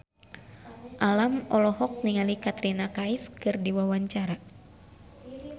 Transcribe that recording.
Alam olohok ningali Katrina Kaif keur diwawancara